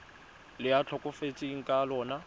le a tlhokafetseng ka lona